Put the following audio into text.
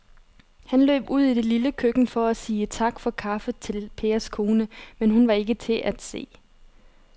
Han løb ud i det lille køkken for at sige tak for kaffe til Pers kone, men hun var ikke til at se.